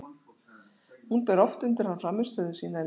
Hún ber oft undir hann frammistöðu sína í leikjum.